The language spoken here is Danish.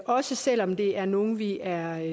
også selv om det er nogle vi er